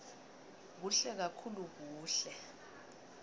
kuhle kakhulu kuhle